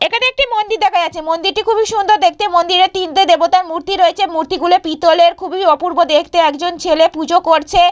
এখানে একটি মন্দির দেখা যাচ্ছে। মন্দিরটি খুবই সুন্দর দেখতে মন্দিরে তিনটে দেবতার মূর্তি রয়েছে। মূর্তি গুলো পিতলের খুবই অপূর্ব দেখতে একজন ছেলে পূজো করছে।